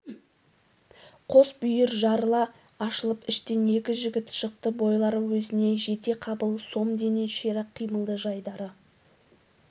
қос бүйір жарыла ашылып іштен екі жігіт шықты бойлары өзіне жетеқабыл сом дене ширақ қимылды жайдары